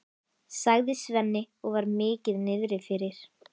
sagði Svenni og var mikið niðri fyrir.